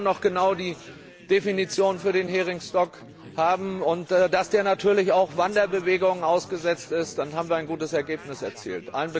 Wenn wir dann noch genau die Definition für den Heringsbestand haben und dabei berücksichtigen, dass der natürlich auch Wanderbewegungen ausgesetzt ist, dann haben wir ein gutes Ergebnis erzielt.